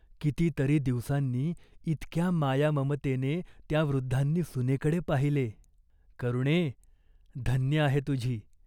किती तरी दिवसांनी इतक्या मायाममतेने त्या वृद्धांनी सुनेकडे पाहिले ! "करुणे, धन्य आहे तुझी.